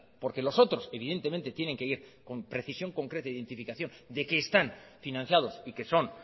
porque los otros evidentemente tienen que ir con precisión concreta e identificación de que están financiados y que son